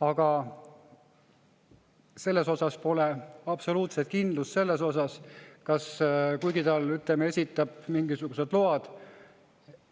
Aga pole absoluutselt kindlust selles osas, kuigi ta esitab mingisugused load,